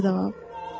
Mən ciddi adamam.